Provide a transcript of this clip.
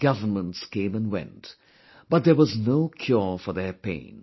Governments came and went, but there was no cure for their pain